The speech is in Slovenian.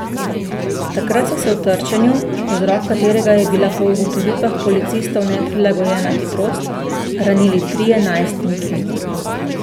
Takrat so se v trčenju, vzrok katerega je bila po ugotovitvah policistov neprilagojena hitrost, ranili trije najstniki.